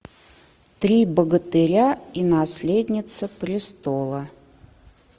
три богатыря и наследница престола